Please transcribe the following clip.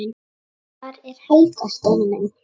Hvar er Helga, Steini minn?